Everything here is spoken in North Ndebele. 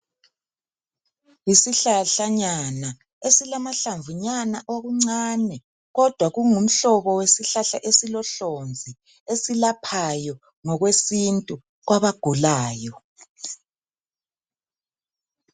Yisihlahlanyana esilamanhlamvunyana okuncane kodwa kungumhlobo wesihlahla esilohlonzi esilaphayo ngokwesintu kwabagulayo